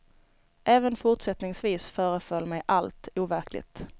Även fortsättningsvis föreföll mig allt overkligt.